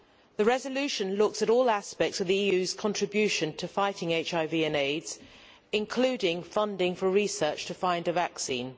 The resolution looks at all aspects of the EU's contribution to fighting HIV and AIDS, including funding for research to find a vaccine.